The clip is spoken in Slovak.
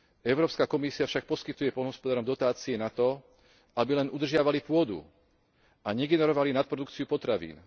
Európska komisia však poskytuje poľnohospodárom dotácie na to, aby len udržiavali pôdu a negenerovali nadprodukciu potravín.